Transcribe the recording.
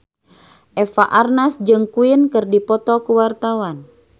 Eva Arnaz jeung Queen keur dipoto ku wartawan